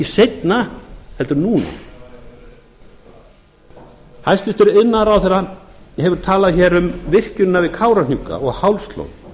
seinna heldur en núna hæstvirtur iðnaðarráðherra hefur talað hér um virkjunina við kárahnjúka og hálslón